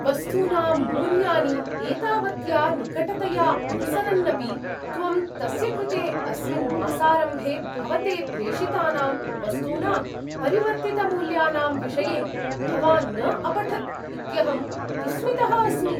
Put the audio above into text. वस्तूनां मूल्यानि एतावत्या निकटतया अनुसरन्नपि त्वं, तस्य कृते अस्मिन् मासारम्भे भवते प्रेषितानां वस्तूनां परिवर्तितमूल्यानां विषये भवान् न अपठत् इत्यहं विस्मितः अस्मि।